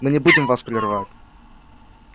мы не будем вас прерывать